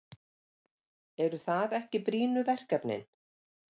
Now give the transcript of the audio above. Eru það ekki brýnu verkefnin?